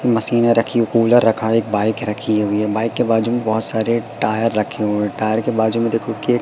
मशीने रखी कूलर रखा एक बाइक रखी हुई बाइक के बाजू में बहोत सारे टायर रखे हुए टायर के बाजू में देखो के--